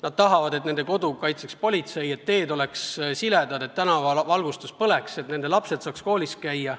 Nad tahavad, et nende kodu kaitseks politsei, et teed oleks siledad, et tänavavalgustus põleks, et nende lapsed saaks koolis käia.